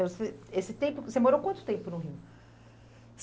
Eh, você, esse tempo, você morou quanto tempo no Rio?